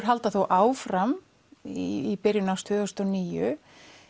halda þó áfram í byrjun árs tvö þúsund og níu